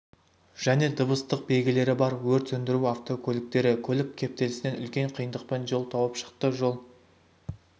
және дыбыстық белгілері бар өрт сөндіру автокөліктері көлік кептелісінен үлкен қиындықпен жол тауып шықты жол